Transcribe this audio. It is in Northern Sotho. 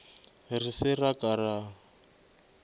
re se ra ka ra